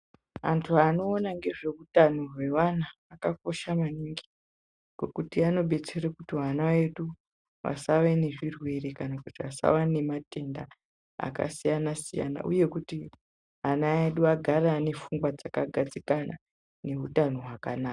Vantu vanoona ngezveutano hwevana vakakosha maningi, nokuti vanobetsere kuti vana vedu vasawa nezvirwere kana kuti vasawa nematenda akasiyana siyana uye kuti ana edu agare ane pfungwa dzakagadzikana nehutano hwakanaka.